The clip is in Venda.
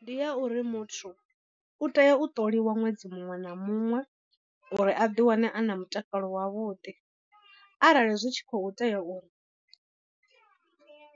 Ndi ya uri muthu u tea u ṱoliwa ṅwedzi muṅwe na muṅwe uri a ḓiwane a na mutakalo wavhuḓi. Arali zwi tshi khou tea uri